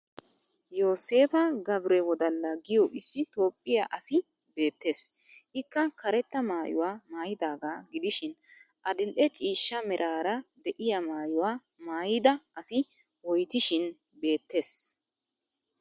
Yoseepa gabirewoladda giyo issi toophphiya asi beettes. Ikka karetta maayuwa maayidaagadaaga gidishin adil'e ciishsha meraara de'iyaa maayuwa maayida asi woytishin beettes.